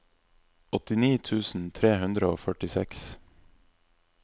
åttini tusen tre hundre og førtiseks